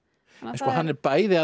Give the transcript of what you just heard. hann er bæði að